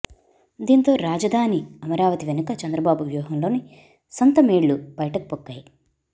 దీంతో రాజ ధాని అమరావతి వెనుక చంద్రబాబు వ్యూహంలోని సొంత మేళ్లు బయటకు పొక్కాయి